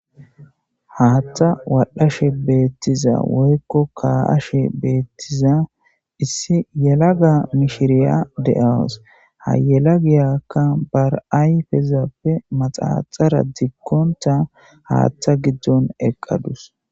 Haattha waldhashe beettiza woykko kaa'ashe beettiza issi yela ga mishiriya de'awus hayela giyakka bar'ayfezappe maxaaxara dikkonta haattha giddon eqqadus